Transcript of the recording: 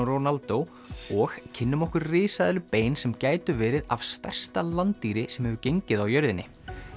Ronaldo og kynnum okkur risaeðlubein sem gætu verið af stærsta sem hefur gengið á jörðinni